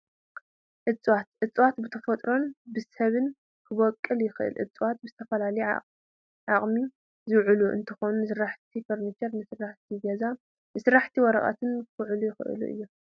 እፀዋት፡- እፀዋት ብተፈጥሮን ብሰብን ይበቕሉን ይትከሉን፡፡ እፀዋት ንዝተፈላለየ ጥቕሚ ዝውዕሉ እንትኾኑ ንስራሕቲ ፈርኒቸር፣ ንስራሕቲ ገዛን ንስራሕቲ ወረቐትን ክውዕሉ ይኽአሉ እዮም፡፡